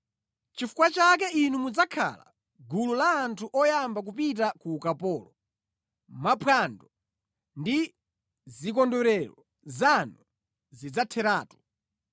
Nʼchifukwa chake inu mudzakhala mʼgulu la anthu oyamba kupita ku ukapolo; maphwando ndi zikondwerero zanu zidzatheratu.